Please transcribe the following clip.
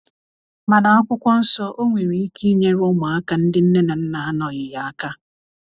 mana akwụkwo nsọ o nwere ike nyere ụmụaka ndi nne na nna anọghi ya aka